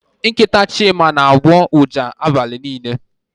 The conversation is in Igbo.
Nkịta Chima na-agbọ ụja abalị niile.